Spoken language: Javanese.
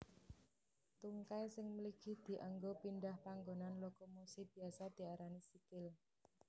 Tungkai sing mligi dianggo pindhah panggonan lokomosi biasa diarani sikil